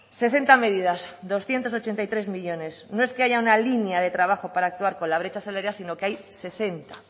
sesenta medidas doscientos ochenta y tres millónes no es que haya una línea de trabajo para actuar con la brecha salarial sino que hay sesenta